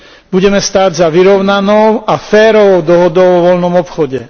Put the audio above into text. Budeme stáť za vyrovnanou a férovou dohodou o voľnom obchode.